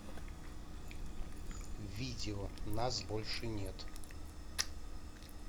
видео нас больше нет